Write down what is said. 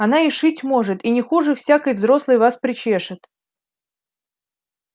она и шить может и не хуже всякой взрослой вас причешет